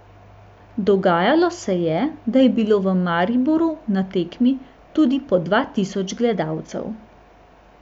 Dogajalo se je, da je bilo v Mariboru na tekmi tudi po dva tisoč gledalcev.